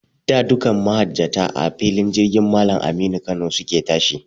Da, dukkan mahajjata, a filin jirgin Mallam Aminu Kano su ke tashi.